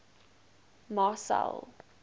marcel